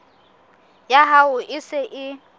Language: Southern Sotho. ya hao e se e